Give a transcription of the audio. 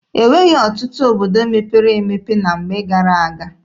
E nweghị ọtụtụ obodo mepere emepe na mgbe gara-aga.